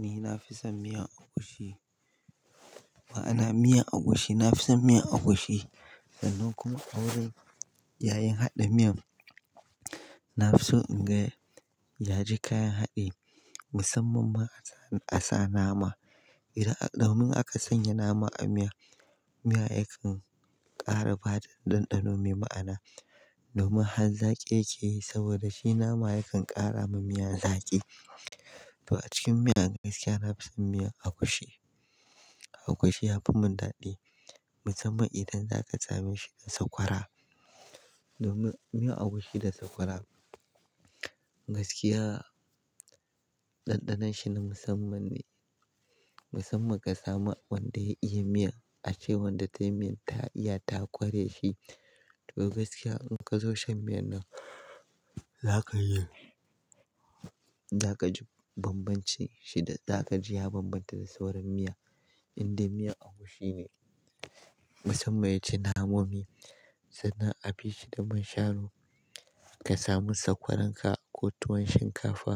Ni na fi son miyan agushi. Ma'ana miyan agushi, na fi son miyan agushi. Dan kuma a wurin yayin haɗa miyan, na fi so in ga yaji kayan haɗi musamman ma a sa nama. Idan almun aka sanya nama a miya, miya yakan ƙara ba ɗanɗano mai ma'ana. Domin har zaƙi yake yi saboda shi nama yakan ƙara ma miya zaƙi. To a cikin miyan gaskiya na fi son miyan agushi. Agushi ya fi mun daɗi musamman idan zaka same shi da sakwara. Domin miyan agushi da sakwara gaskiya ɗanɗanon shi na musamman ne. Musamman ka samu wanda ya iya miya, ace wanda tayi miyan ta iya ta kware shi. To gaskiya in ka zo shan miyan nan zaka yi, zaka ji bambance shi da, za ka ji ya bambanta da sauran miya inda miyan agushi ne musamman yaji namomi. Sannan a bi shi da man shanu ka samu sakwarar ka ko tuwon shinkafa